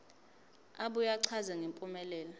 abuye achaze ngempumelelo